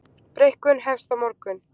Breikkun hefst á morgun